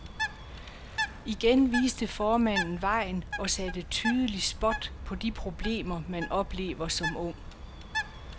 Igen viste formanden vejen og satte tydelig spot på de problemer, man oplever som ung.